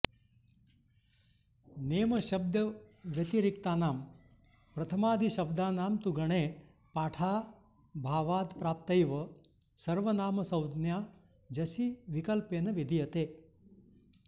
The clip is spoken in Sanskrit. नेमशब्दव्यतिरिक्तानां प्रथमादिशब्दानां तु गणे पाठाऽभावादप्राप्तैव सर्वनामसंज्ञा जसि विकल्पेन विधीयते